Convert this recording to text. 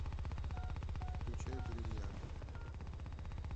включай бриллиант